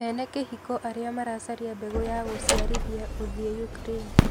Ene kĩhiko arĩa maracaria mbegu ya guciarithia guthie Ukraine.